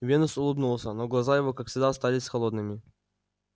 венус улыбнулся но глаза его как всегда остались холодными